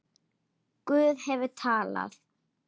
Guð hefur talað.